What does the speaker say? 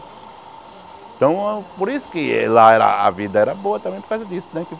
Então, por isso que lá a vida era boa, também por causa disso, né?